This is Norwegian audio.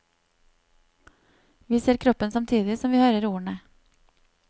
Vi ser kroppen samtidig som vi hører ordene.